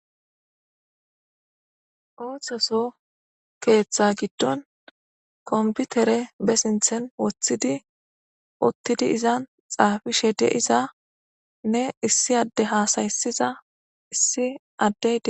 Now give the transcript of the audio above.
Oso soho ketha gidon kompitere be sinthan wotidi utidi izan xafishe dizanne issi adde hasayisida issi adde